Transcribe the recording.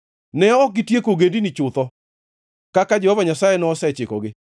Ne ok gitieko ogendini chutho kaka Jehova Nyasaye nosechikogi,